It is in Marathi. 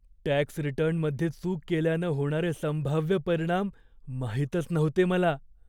टॅक्स रिटर्नमध्ये चूक केल्यानं होणारे संभाव्य परिणाम माहीतच नव्हते मला.